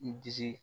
I disi